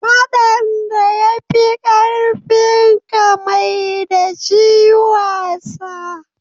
Faɗan da ya fi ƙarfinka maida shi wasa.